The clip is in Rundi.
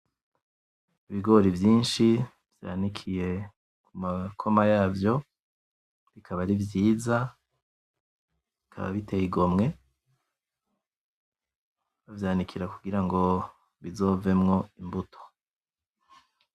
Ibigori vyinshi vyanikiye kumakoma yavyo bikaba ari vyiza bikaba biteye igomwe bavyanikira kugira ngo bizovemwo imbuto